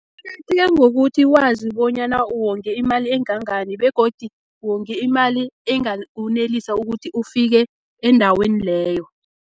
Kuqakatheke ngokuthi wazi bonyana uwonge imali engangani, begodu wonge imali engawonelisa ukuthi ufike endaweni leyo.